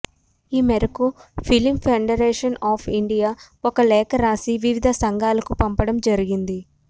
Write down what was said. ఈ మేరకు film federation of India ఒక లేఖ రాసి వివిధ సంఘాలకు పంపడం జరిగింది